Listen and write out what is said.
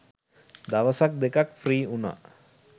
දවසක් දෙකක් ෆ්‍රී වුනා.